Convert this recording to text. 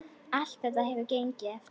Allt þetta hefur gengið eftir.